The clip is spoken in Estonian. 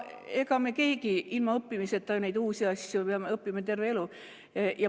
Ega me keegi ilma õppimiseta neid uusi asju, me peame õppima terve elu.